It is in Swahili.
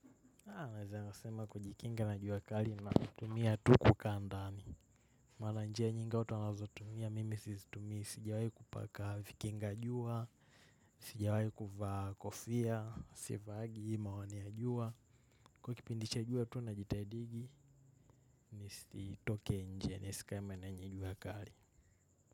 Naweza sema kujikinga na jua kali na kutumia tu kukaa ndani. Maana njia nyingi watu wanazotumia mimi sizitumii sijawai kupaka vikinga jua. Sijawahi kuvaa kofia, sivaagi hii miwani ya jua. Kwa kipindi cha jua tu na jitahidigi, nisitoke nje, nisikae maeneo yenye juakali.